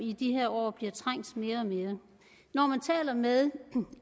i de her år bliver trængt mere og mere når man taler med